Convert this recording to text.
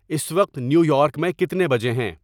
اس وقت New York میں کتنے بجے ہیں